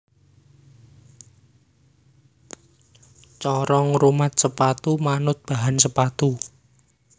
Cara ngrumat sepatu manut bahan sepatu